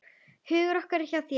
Hugur okkar er hjá þér.